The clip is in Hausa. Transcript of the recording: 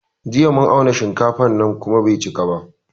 Jiya mun auna shinkafan nan kuma bai cika ba